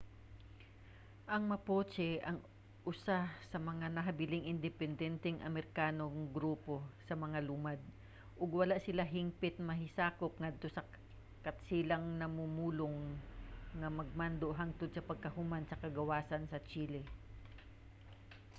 ang mapuche ang usa sa mga nahibiling independenteng amerikanong grupo sa mga lumad ug wala sila hingpit mahisakop ngadto sa katsilang-mamumulong nga pagmando hangtod pagkahuman sa kagawasan sa chile